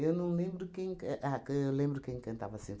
não lembro quem ca ah can eu lembro quem cantava sim.